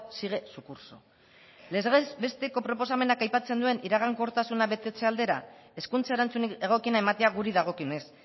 sigue su curso legez besteko proposamenak aipatzen duen iragankortasuna betetze aldera hezkuntza erantzunik egokiena ematea guri dagokionez